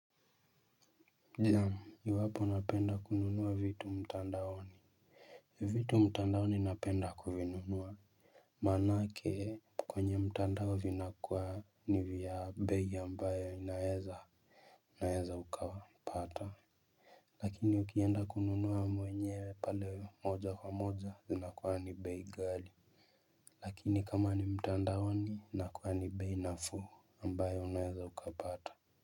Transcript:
Naam iwapo unapenda kununua vitu mtandaoni. Vitu mtandaoni napenda kuvinunua. Manake kwenye mtandao vinakuwa ni vya bei ambayo inaeza ukapata. Lakini ukienda kununua mwenyewe pale moja kwa moja zinakuwa ni bei ghali. Lakini kama ni mtandaoni inakuwa ni bei na fuu ambayo unaeza ukapata.